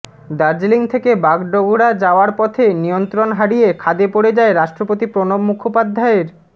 দার্জিলিং থেকে বাগডোগরা যাওয়ার পথে নিয়ন্ত্রণ হারিয়ে খাদে পড়ে যায় রাষ্ট্রপতি প্রণব মুখোপাধ্যায়ের